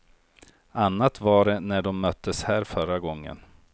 Annat var det när de möttes här förra gången.